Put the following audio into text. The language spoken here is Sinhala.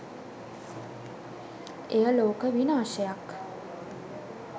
එය ලෝක විනාශයක්